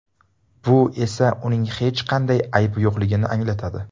Bu esa uning hech qanday aybi yo‘qligini anglatadi.